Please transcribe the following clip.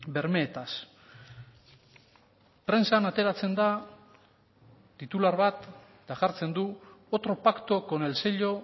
bermeetaz prentsak ateratzen da titular bat eta jartzen du otro pacto con el sello